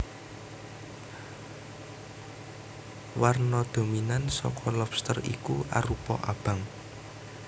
Warna dominan saka lobster iki arupa abang